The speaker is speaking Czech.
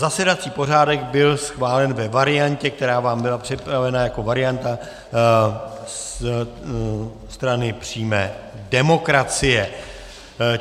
Zasedací pořádek byl schválen ve variantě, která vám byla připravena jako varianta Strany přímé demokracie.